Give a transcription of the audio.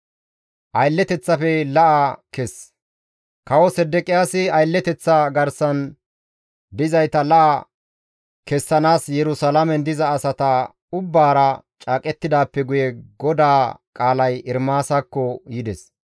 Kawo Sedeqiyaasi aylleteththa garsan dizayta la7a kessanaas Yerusalaamen diza asaa ubbaara caaqettidaappe guye GODAA qaalay Ermaasakko yides.